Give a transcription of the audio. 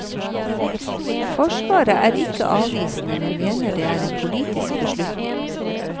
Forsvaret er ikke avvisende, men mener det er en politisk beslutning.